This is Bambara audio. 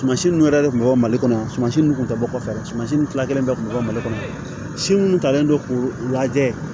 Sumasi ninnu yɛrɛ de kun bɛ bɔ mali kɔnɔ sumansi ninnu tun tɛ bɔ kɔfɛ dɛ sumansi ninnu fila kelen bɛ bɔ mali kɔnɔ si minnu talen don k'u lajɛ